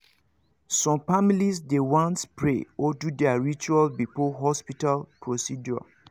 some families dey want pray or do their rituals before hospital procedure